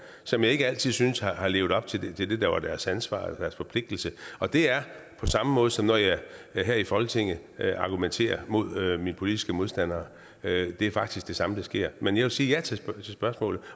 som jeg ikke altid synes har levet op til det der var deres ansvar eller deres forpligtelse og det er på samme måde som jeg her i folketinget argumenterer mod mine politiske modstandere det er faktisk det samme der sker men jeg vil sige ja til spørgsmålet